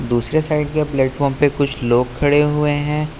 दूसरे साइड के प्लेटफार्म पे कुछ लोग खड़े हुए हैं।